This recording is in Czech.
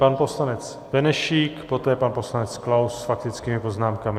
Pan poslanec Benešík, poté pan poslanec Klaus s faktickými poznámkami.